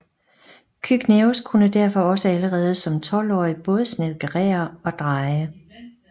Cygnæus kunne derfor også allerede som tolvårig både snedkerere og dreje